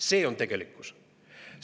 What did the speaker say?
See on tegelikkus!